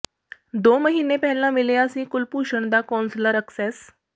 ਦੋ ਮਹੀਨੇ ਪਹਿਲਾਂ ਮਿਲੀਆ ਸੀ ਕੁਲਭੂਸ਼ਣ ਦਾ ਕੌਂਸਲਰ ਅਕਸੇਸ